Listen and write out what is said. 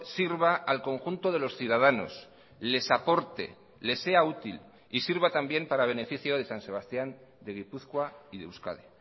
sirva al conjunto de los ciudadanos les aporte les sea útil y sirva también para beneficio de san sebastián de gipuzkoa y de euskadi